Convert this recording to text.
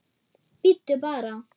Bíddu bara!